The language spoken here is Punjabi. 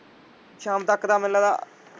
ਸ਼ਾਮ ਤੱਕ ਮੈਨੂੰ ਲੱਗਦਾ।